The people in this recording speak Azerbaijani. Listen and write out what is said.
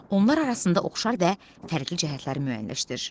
Onlar arasında oxşar və fərqli cəhətləri müəyyənləşdir.